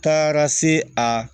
Taara se a